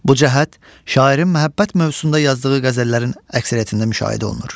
Bu cəhət şairin məhəbbət mövzusunda yazdığı qəzəllərin əksəriyyətində müşahidə olunur.